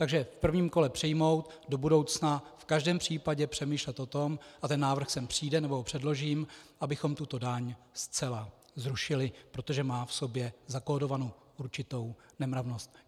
Takže v prvním kole přijmout, do budoucna v každém případě přemýšlet o tom, a ten návrh sem přijde, nebo ho předložím, abychom tuto daň zcela zrušili, protože má v sobě zakódovanou určitou nemravnost.